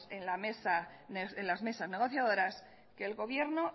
en las mesas negociadoras que el gobierno